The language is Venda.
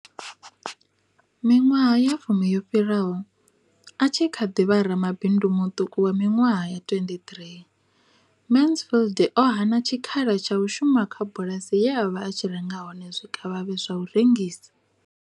Miṅwaha ya fumi yo fhiraho, a tshi kha ḓi vha ramabindu muṱuku wa miṅwaha ya 23, Mansfield o hana tshikhala tsha u shuma kha bulasi ye a vha a tshi renga hone zwikavhavhe zwa u rengisa.